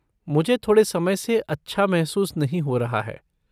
मुझे थोड़े समय से अच्छा महसूस नहीं हो रहा है।